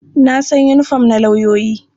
Na san yinifom na lauyoyi. I know the uniform of lawyers.